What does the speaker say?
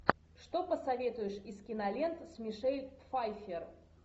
что посоветуешь из кинолент с мишель пфайффер